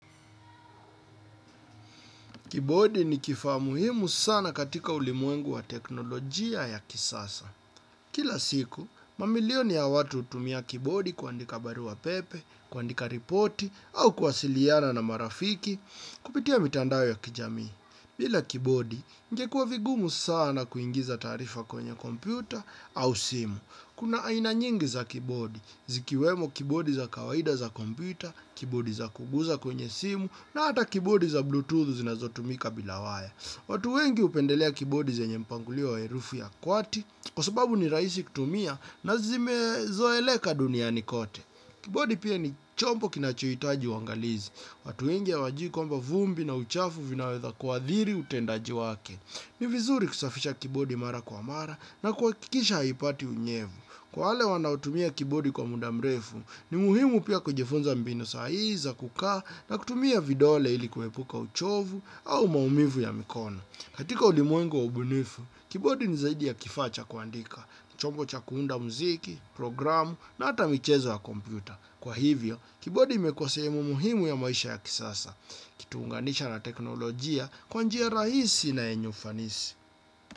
Kibodi ni kifaa muhimu sana katika ulimwengu wa teknolojia ya kisasa. Kila siku, mamilioni ya watu hutumia kibodi kuandika barua pepe, kuandika ripoti, au kuwasiliana na marafiki, kupitia mitandao ya kijami. Bila kibodi, ingekuwa vigumu sana kuingiza tarifa kwenye kompyuta au simu. Kuna aina nyingi za kibodi, zikiwemo kibodi za kawaida za kompyuta, kibodi za kuguza kwenye simu, na hata kibodi za bluetooth zinazotumika bila waya. Watu wengi hupendelea kibodi zenye mpangilio wa herufi ya kwati, kwa sababu ni rahisi kutumia na zimezoeleka duniani kote. Kibodi pia ni chombo kinachohitaji uangalizi. Watu wengi hawajui kwamba vumbi na uchafu vinaweza kuathiri utendaji wake. Ni vizuri kusafisha kibodi mara kwa mara na kuhakikisha haipati unyevu. Kwa wale wanaotumia kibodi kwa muda mrefu, ni muhimu pia kujifunza mbinu sahihi za, kukaa na kutumia vidole ili kuepuka uchovu au maumivu ya mikono. Katika ulimwengu wa ubunifu, kibodi ni zaidi ya kifacha kuandika, chombo cha kuunda muziki, programu na hata michezo ya kompyuta. Kwa hivyo, kibodi imekuwa sehemu muhimu ya maisha ya kisasa, ikituunganisha na teknolojia kwa nji rahisi na yenye ufanisi.